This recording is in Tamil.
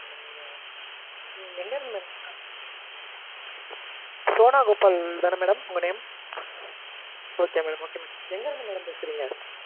எங்க இருந்து madam சோனா கோபால்தான madam உங்க name? எங்க இருந்து madam பேசறீங்க?